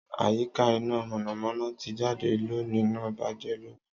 Àyíká iná mọ̀nàmọ́ná ti jáde loni náà bàjẹ́ loni